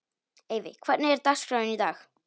Eyfi, hvernig er dagskráin í dag?